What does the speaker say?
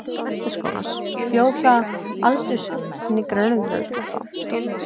Menntaskólans, bjó hjá aldurhnignum foreldrum inní Túnum fyrir ofan Höfðaborg.